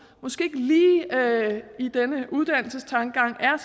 i denne uddannelsestankegang er